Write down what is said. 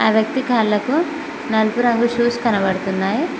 ఆ వ్యక్తి కాళ్ళకు నలుపు రంగు షూస్ కనబడుతున్నాయి.